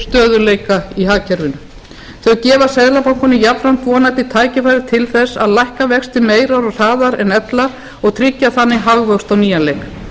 stöðugleika í hagkerfinu þau gefa seðlabankanum jafnframt vonandi tækifæri til þess að lækka vexti meira og hraðar en ella og tryggja þannig hagvöxt á nýjan leik